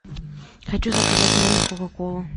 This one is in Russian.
хочу заказать в номер кока колу